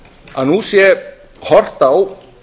að nú sé horft á